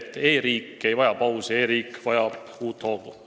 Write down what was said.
E-riik ei vaja pausi, e-riik vajab uut hoogu.